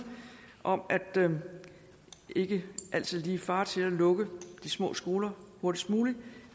om at man ikke altid lige skal fare til at lukke de små skoler hurtigst muligt